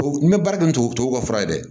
N bɛ baara kɛ ntogo tubabuw ka fura ye dɛ